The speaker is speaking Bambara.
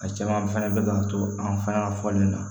A caman fɛnɛ bɛ k'an to an fɛ yan fɔli na